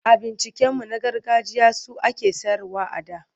Abinciccikanmu na gargajiya su ake sayarwa a da.